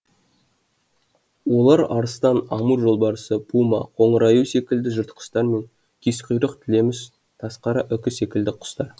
олар арыстан амур жолбарысы пума қоңыр аю секілді жыртқыштар мен кезқұйрық тілеміш тазқара үкі секілді құстар